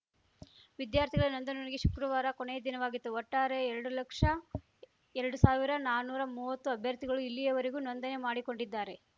ವಿದ್ಯಾರ್ಥಿಗಳ ನೋಂದಣಿಗೆ ಶುಕ್ರವಾರ ಕೊನೆಯ ದಿನವಾಗಿತ್ತು ಒಟ್ಟಾರೆ ಎರಡು ಲಕ್ಷಎರಡು ಸಾವಿರನಾನುರಾ ಮುವತ್ತು ಅಭ್ಯರ್ಥಿಗಳು ಇಲ್ಲಿಯವರೆಗೂ ನೋಂದಣಿ ಮಾಡಿಕೊಂಡಿದ್ದಾರೆ